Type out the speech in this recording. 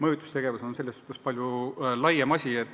Mõjutustegevus on midagi palju laiemat.